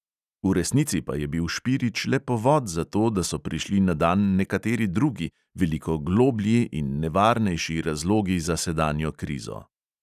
V resnici pa je bil špirič le povod za to, da so prišli na dan nekateri drugi, veliko globlji in nevarnejši razlogi za sedanjo krizo.